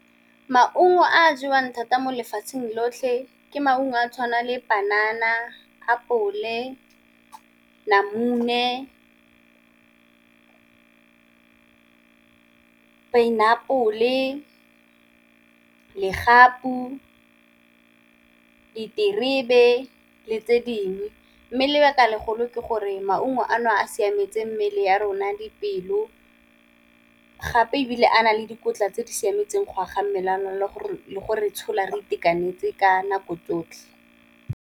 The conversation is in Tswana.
Maungo a jewang thata mo lefatsheng lotlhe ke maungo a tshwana le panana, apole, namune , pineapple, legapu, diterebe le tse dingwe mme lebaka legolo ke gore maungo a no a siametse mmele ya rona dipelo, gape ebile a na le dikotla tse di siametseng go aga mmele ya rona le gore tshola re itekanetse ka nako tsotlhe.